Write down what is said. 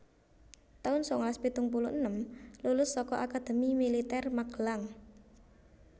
taun sangalas pitung puluh enem Lulus saka Akademi Militer Magelang